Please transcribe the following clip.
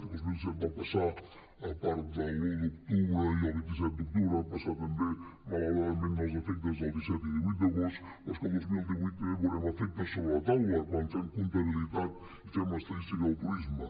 el dos mil disset va passar a part de l’un d’octubre i el vint set d’octubre van passar també malauradament els efectes del disset i divuit d’agost però és que el dos mil divuit també veurem efectes sobre la taula quan fem comptabilitat i fem estadística del turisme